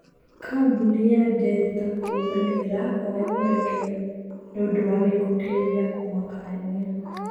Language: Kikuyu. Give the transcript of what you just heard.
Kambuni ya derita kuga nĩĩrahoya mũrekera nĩ ũndũwa gĩko kĩu gĩa kũmakania.